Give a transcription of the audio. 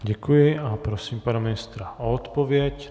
Děkuji a prosím pana ministra o odpověď.